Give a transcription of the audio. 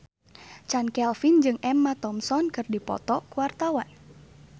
Chand Kelvin jeung Emma Thompson keur dipoto ku wartawan